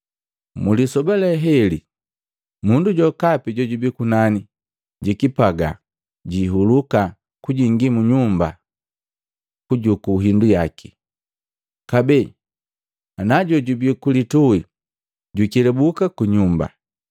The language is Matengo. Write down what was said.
“Mlisoba lee heli, mundu jokapi jojubi kunani jikipagaa jiihuluka kujingi mu nyumba kujuku hindu yaki. Kabee, najojubi ku lituhi jwikelabuki ku nyumba.